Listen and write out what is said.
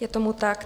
Je tomu tak.